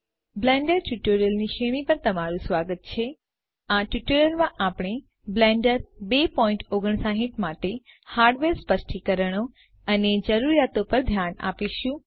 Blender ટ્યુટોરિયલ્સની શ્રેણી પર તમારું સ્વાગત છે આ ટ્યુટોરીયલ માં આપણે બ્લેન્ડર 259 માટે હાર્ડવેર સ્પષ્ટીકરણો અને જરૂરીયાતો પર ધ્યાન આપીશું